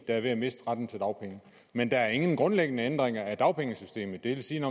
er ved at miste retten til dagpenge men der er ingen grundlæggende ændringer af dagpengesystemet det vil sige at